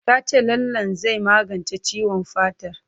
Ta ce lallen zai magance ciwon fatar.